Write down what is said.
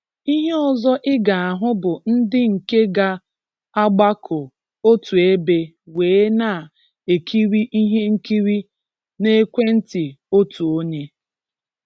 Ihe ọzọ ị ga ahụ bụ ndị nke ga agbako otu ebe wee na-ekiri ihe nkiri n'ekwenti otu onye.